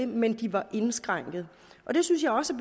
men at de var indskrænkede det synes jeg også